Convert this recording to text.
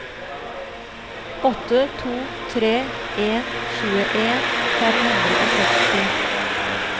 åtte to tre en tjueen fem hundre og seksti